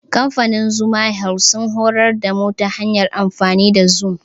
Kamfanin Zuma health sun horar da mu ta hanyar amfani da zum.